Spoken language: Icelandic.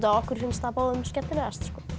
okkur finnst það báðum skemmtilegast